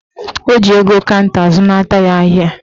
Ọ ji ego kanta zụnata ya ahịa